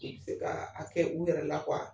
I bɛ se ka a kɛ u yɛrɛ la